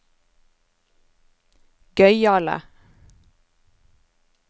gøyale